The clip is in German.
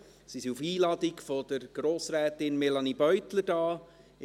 Sie sind auf Einladung von Grossrätin Beutler hier.